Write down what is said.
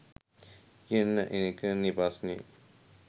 කියන එක නේ ප්‍රශ්නේ.